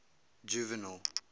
juvenal